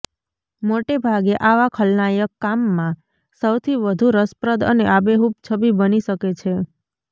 મોટેભાગે આવા ખલનાયક કામમાં સૌથી વધુ રસપ્રદ અને આબેહૂબ છબી બની શકે છે